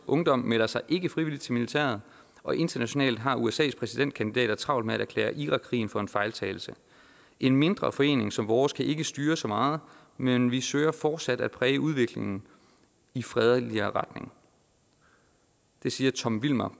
ungdom melder sig ikke frivilligt til militæret og internationalt har usas præsidentkandidater travlt med at erklære irakkrigen for en fejltagelse en mindre forening som vores kan ikke styre så meget men vi søger fortsat at præge udviklingen i fredeligere retning siger tom vilmer